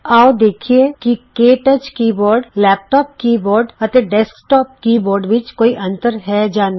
ਆਉ ਦੇਖੀਏ ਕਿ ਕੇ touch keyboard laptop keyboard ਅਤੇ ਡੈਸਕਟੋਪ ਕੀ ਬੋਰਡ ਵਿੱਚ ਕੋਈ ਅੰਤਰ ਹੈ ਜਾਂ ਨਹੀਂ